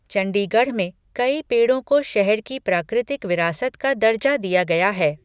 चंडीगढ़ में कई पेड़ों को शहर की प्राकृतिक विरासत का दर्जा दिया गया है।